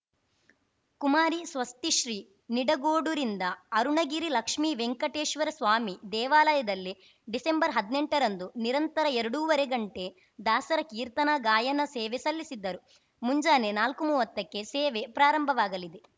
ಕುಮಾರಿಸ್ವಸ್ತಿಶ್ರೀ ನಿಡಗೋಡುರಿಂದ ಅರುಣಗಿರಿ ಲಕ್ಷ್ಮೀ ವೆಂಕಟೇಶ್ವರ ಸ್ವಾಮಿ ದೇವಾಲಯದಲ್ಲಿ ಡಿಸೆಂಬರ್ಹದ್ನೆಂಟರಂದು ನಿರಂತರ ಎರಡೂವರೆ ಗಂಟೆ ದಾಸರ ಕೀರ್ತನಾ ಗಾಯನ ಸೇವೆ ಸಲ್ಲಿಸಿದ್ದರು ಮುಂಜಾನೆ ನಾಲ್ಕುಮೂವತ್ತಕ್ಕೆ ಸೇವೆ ಪ್ರಾರಂಭವಾಗಲಿದೆ